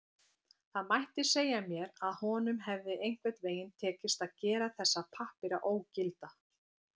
Það mætti segja mér að honum hefði einhvern veginn tekist að gera þessa pappíra ógilda.